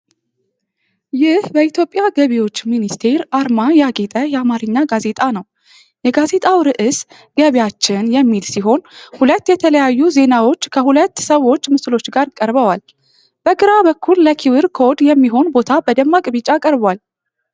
ይህ በኢትዮጵያ ገቢዎች ሚኒስቴር አርማ ያጌጠ የአማርኛ ጋዜጣ ነው። የጋዜጣው ርዕስ "ገቢያችን" የሚል ሲሆን፤ ሁለት የተለያዩ ዜናዎች ከሁለት ሰዎች ምስሎች ጋር ቀርበዋል። በግራ በኩል ለኪውር ኮድ የሚሆን ቦታ በደማቅ ቢጫ ቀርቧል።